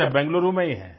अच्छा बेंगलूरू में ही हैं